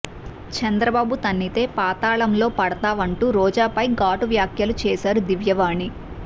చంద్రబాబు తన్నితే పాతాళంలో పడతావంటూ రోజాపై ఘాటు వ్యాఖ్యలు చేశారు దివ్యవాణి